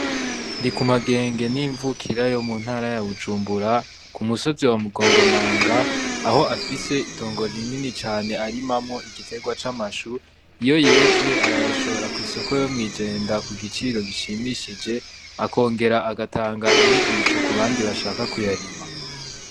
Ndikumagenge ni imvukira yo mu ntara ya Bujumbura, ku musozi wa Mugongomanga, aho afise itongo rinini cane arimamwo igiterwa c'amashu. Iyo yeze arayashora kw'isoko yo mw'ijenda ku giciro gishimishije, akongera agatanga inyigisho ku bandi bashaka kuyarima.